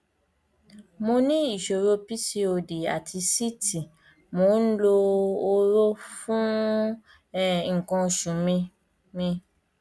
mo ní ìṣòro pcod àti síìtì mò ń lo hóró fún um nǹkan oṣù mi mi